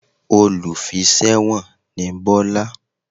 Olùfiṣẹ̀wọ̀n ni Bọ́lá